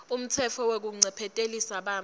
umtsetfo wekuncephetelisa bantfu